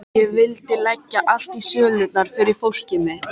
Ég vildi leggja allt í sölurnar fyrir fólkið mitt.